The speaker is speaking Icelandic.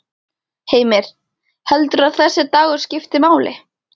Heimir: Heldurðu að þessi dagur skipti máli?